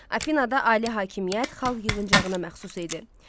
Afinada ali hakimiyyət xalq yığıncağına məxsus idi.